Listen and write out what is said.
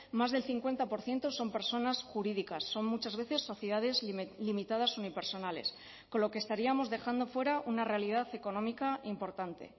más del cincuenta por ciento son personas jurídicas son muchas veces sociedades limitadas unipersonales con lo que estaríamos dejando fuera una realidad económica importante